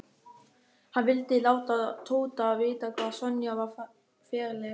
Hann vildi láta Tóta vita hvað Sonja var ferleg.